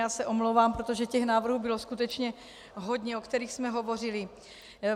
Já se omlouvám, protože těch návrhů bylo skutečně hodně, o kterých jsme hovořili.